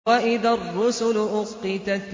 وَإِذَا الرُّسُلُ أُقِّتَتْ